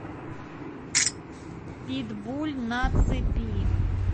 питбуль на цепи